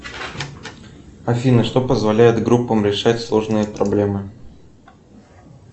афина что позволяет группам решать сложные проблемы